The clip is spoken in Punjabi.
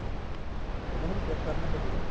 ਉਹਨਾ ਨੂੰ ਵੀ check ਕਰਨਾ ਚਾਹੀਦਾ